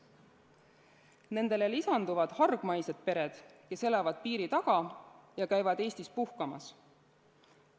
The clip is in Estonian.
Nendele lisanduvad hargmaised pered, kes elavad piiri taga ja käivad Eestis puhkamas.